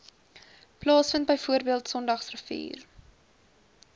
plaasvind bv sondagsrivier